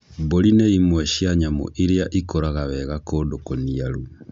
Mbũri nĩ imwe cia nyamũ iria ikũraga wega kũndũ kũniaru.